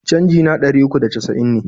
Canji na ɗari uku da casa'in ne.